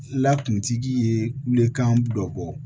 Lakuntigi ye kulekan dɔ bɔ